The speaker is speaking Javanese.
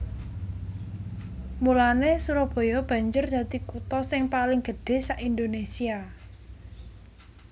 Mulanè Surabaya banjur dadi kutha sing paling gedhé sak Indonésia